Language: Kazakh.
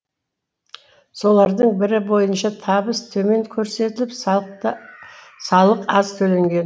солардың бірі бойынша табыс төмен көрсетіліп салық аз төленген